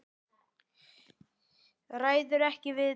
Ræður ekki við tárin.